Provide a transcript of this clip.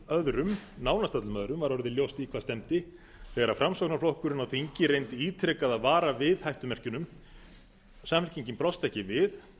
öðrum nánast öllum öðrum var orðið ljóst í hvað stefndi þegar framsóknarflokkurinn á þingi reyndi ítrekað að vara við hættumerkjunum samfylkingin brást ekki við